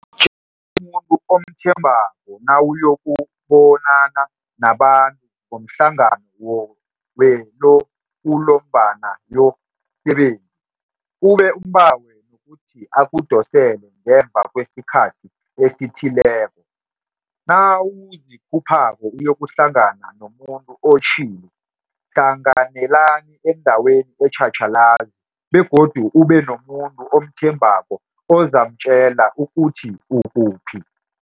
Tjela umuntu omthembako nawuyokubonana nabantu ngomhlangano wekulumobonana yo msebenzi, ube umbawe nokuthi akudosele ngemva kwesikhathi esithileko. Nawuzikhuphako uyokuhlangana nomuntu otjhili, hlanganelani endaweni etjhatjhalazi begodu ubenomuntu omthembako ozamtjela ukuthi ukuphi.